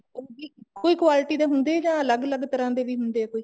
ਉਹ ਕੀ ਇੱਕੋ quality ਦੇ ਹੁੰਦੇ ਆ ਜਾਂ ਅਲੱਗ ਅਲੱਗ ਤਰ੍ਹਾਂ ਦੇ ਹੁੰਦੇ ਆ ਕੋਈ